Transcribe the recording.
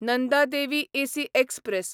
Nanda Devi AC express